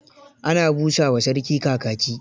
Ana busa wa sarki kakaki.